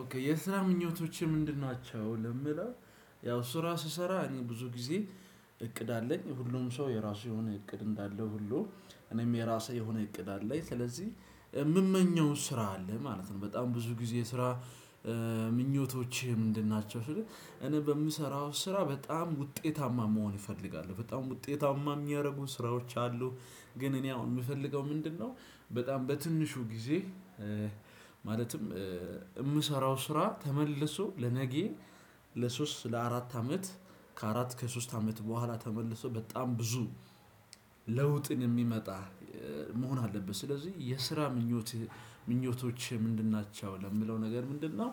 ኦኬ የስራ ምኞቶችን ምንድን ናቸው? ለሚለው ያው ስራ ስሰራ እኔ ብዙ ጊዜ እቅድ አለኝ ሁሉም ሰው የራሱ የሆነ እቅድ እንዳለው ሁሉ እኔም የራሱ የሆነ እቅድ አለኝ ስለዚህ የምመኘው ስራ አለ ማለት ነው። በጣም ብዙ ጊዜ ስራ ምኞቶችህ ምንድን ናቸው? ስል እኔ በምሰራው ስራ በጣም ውጤታማ መሆን ይፈልጋል በጣም ውጤታማ የሚያደርጉ ስራዎች አሉ። ግን እኔ አሁን የምፈልገው ምንድነው? በጣም በትንሹ ጊዜ ማለትም የምሰራው ስራ ተመልሶ ለነጌ ለሶስት ለአራት አመት ከአራት ከሶስት አመት በኋላ ተመልሶ በጣም ብዙ ለውጥን የሚያመጣ መሆን አለበት። ስለዚህ የስራ ምኞት ምኞቶች ምንድን ናቸው ለምለው ነገር ምንድነው?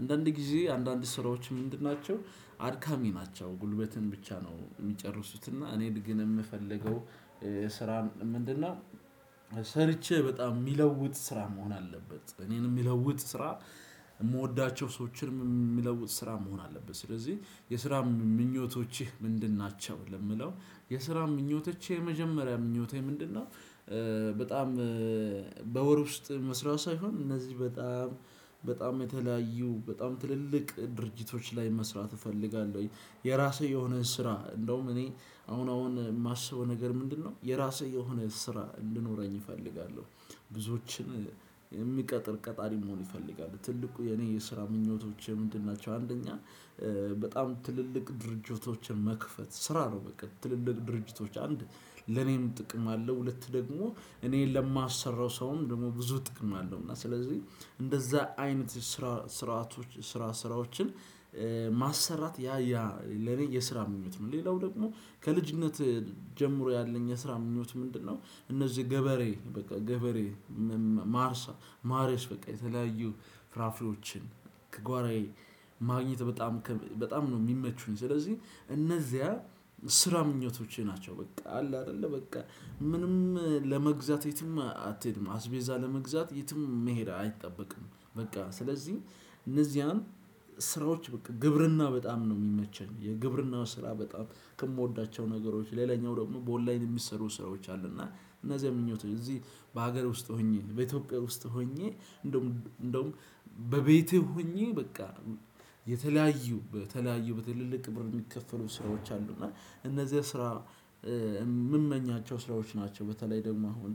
አንዳንድ ጊዜ አንዳንድ ስራዎች ምንድን ናቸው አድካሚ ናቸው ጉልበትን ብቻ ነው የሚጨርሱትና እኔ ግን የምፈልገው። ስራን ምንድነው ሰርቼ በጣም የሚለውጥ ስራ መሆን አለበት እኔን የሚለውጥ ስራ የምወዳቸው ሰዎችንም የሚለውጥ ስራ መሆን አለበት። ስለዚህ የስራ ምኞቶችህ ምንድን ናቸው? ለምለው የስራ ምኞቶች የመጀመሪያ ምኞቴ ምንድነው? በጣም በወር ውስጥ መስሪያው ሳይሆን እነዚህ በጣም በጣም የተለያዩ በጣም ትልልቅ ድርጅቶች ላይ መስራት እፈልጋለሁ። የራስህ የሆነ ስራ እንደውም እኔ አሁን አሁን የማስበው ነገር ምንድነው የራስህ የሆነ ስራ እንድኖረኝ እፈልጋለሁ። ብዙዎችን የሚቀጥር ቀጣሪ መሆን ይፈልጋል ትልቁ የኔ የስራ ምኞቶች ምንድን ናቸው? አንደኛ በጣም ትልልቅ ድርጅቶችን መክፈት ስራ ነው። በቃ ትልልቅ ድርጅቶች አንድ ለኔም ጥቅም አለው። ሁለት ደግሞ እኔ ለማሰራው ሰውም ደግሞ ብዙ ጥቅም አለው። እና ስለዚህ እንደዛ አይነት ስራዎች ስራ ስራዎችን ማሰራት ያ ያ ለኔ የስራ ምኞት ነው። ሌላው ደግሞ ከልጅነት ጀምሮ ያለኝ የስራ ምኞት ምንድነው? እነዚህ ገበሬ በቃ ገበሬ ማርሳ ማረስ በቃ የተለያዩ ፍራፍሬዎችን ከጓራዬ ማግኘት በጣም በጣም ነው የሚመቹኝ ስለዚህ እነዚያ ስራ ምኞቶቼ ናቸው። በቃ አለ አይደለ በቃ ምንም ለመግዛት የትም አትሄድም አስቤዛ ለመግዛት የትም መሄድ አይጠበቅም። በቃ ስለዚህ እነዚያን ስራዎች በቃ ግብርና በጣም ነው የሚመቸኝ። የግብርናው ስራ በጣም ከምወዳቸው ነገሮች ሌላኛው ደግሞ በኦንላይን የሚሰሩ ስራዎች አሉ። እና እነዚህ ምኞት እዚህ በሀገር ውስጥ ሆኜ በኢትዮጵያ ውስጥ ሆኜ እንደውም እንደውም በቤቴ ሆኜ በቃ የተለያዩ በተለያዩ በትልልቅ ብር የሚከፈሉ ስራዎች አሉ እና እነዚህ ስራ የምመኛቸው ስራዎች ናቸው። በተለይ ደግሞ አሁን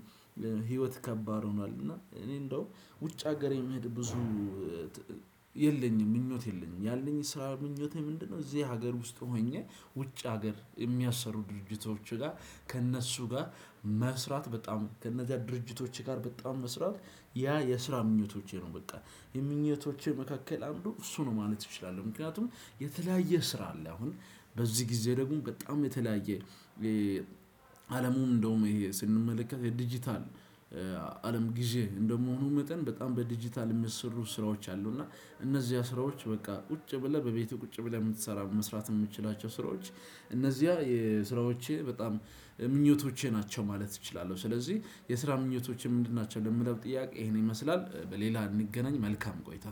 ህይወት ከባድ ሆኗል። እና እኔ እንደው ውጭ ሀገር የምሄድ ብዙ የለኝም ምኞት የለኝም። ያለኝ ስራ ምኞቴ ምንድነው? እዚህ ሀገር ውስጥ ሆኜ ውጭ ሀገር የሚያሰሩ ድርጅቶች ጋር ከእነሱ ጋር መስራት በጣም ከእነዚያ ድርጅቶች ጋር በጣም መስራት ያ የስራ ምኞቶቼ ነው። በጣም የምኞቶቼ መካከል አንዱ እሱ ነው ማለት እችላለሁ። ምክንያቱም የተለያየ ስራ አለ። አሁን በዚህ ጊዜ ደግሞ በጣም የተለያየ አለሙን እንደውም ይሄ ስንመለከት የዲጂታል አለም ጊዜ እንደምሆኑ መጠን በጣም በዲጂታል የሚሰሩ ስራዎች አሉ። እና እነዚያ ስራዎች በቃ ቁጭ ብለህ በቤቱ ቁጭ ብለህ የምትሰራ መስራት የምትችላቸው ስራዎች። እነዚያ የስራዎቼ በጣም ምኞቶቼ ናቸው ማለት እችላለሁ። ስለዚህ የስራ ምኞቶችህ ምንድን ናቸው? የሚለው ጥያቄ ይሄን ይመስላል በሌላ እንገናኝ መልካም ቆይታ።